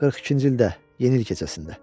42-ci ildə Yeni il gecəsində.